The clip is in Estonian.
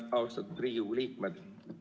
Austatud Riigikogu liikmed!